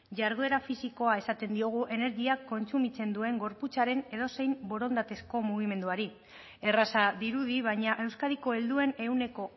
jarduera fisikoa esaten diogu energia kontsumitzen duen gorputzaren edozein borondatezko mugimenduari erraza dirudi baina euskadiko helduen ehuneko